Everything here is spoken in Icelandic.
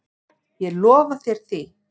Ég lofa þér því.